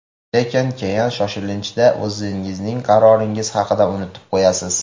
Lekin keyin shoshilinchda o‘zingizning qaroringiz haqida unutib qo‘yasiz.